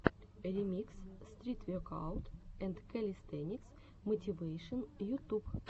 ремикс стрит векаут энд кэлистэникс мотивэйшен ютуб